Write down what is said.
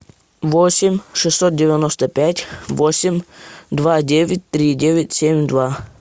восемь шестьсот девяносто пять восемь два девять три девять семь два